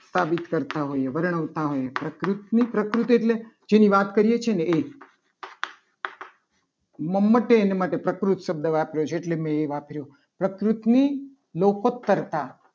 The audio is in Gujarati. સાબિત કરતા હોઈએ. બધાનું એવું હોય પ્રકૃતિની પ્રકૃતિ એટલે જેની વાત કરીએ છીએ. ને એ મહાદેવ એના માટે પ્રકૃત શબ્દ વાપરે છે. એટલે મેં એ વાપર્યો પ્રકૃતની લોપત કરતા